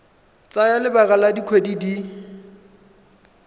tsaya lebaka la dikgwedi di